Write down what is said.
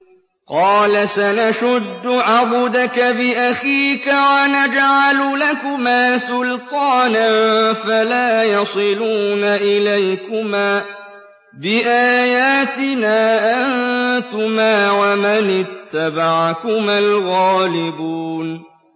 قَالَ سَنَشُدُّ عَضُدَكَ بِأَخِيكَ وَنَجْعَلُ لَكُمَا سُلْطَانًا فَلَا يَصِلُونَ إِلَيْكُمَا ۚ بِآيَاتِنَا أَنتُمَا وَمَنِ اتَّبَعَكُمَا الْغَالِبُونَ